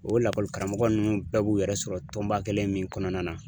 O lakɔli karamɔgɔ nunnu bɛɛ b'u yɛrɛ sɔrɔ tɔnba kɛlen min kɔnɔna na.